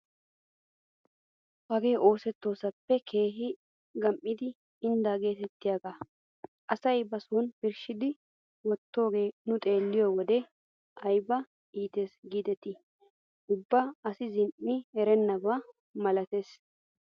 Hagee oosettoosappe keehi gam"ida inddaa getettiyaagee asay ba soni birshshidi wottidoogee nuna xeelliyoo wode ayba iittes gidetii ubba asi zin"i erennaba malatees!